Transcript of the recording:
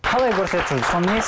қалай көрсетіп жүрді